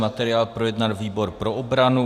Materiál projednal výbor pro obranu.